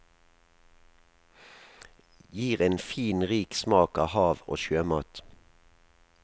Gir en fin, rik smak av hav og sjømat.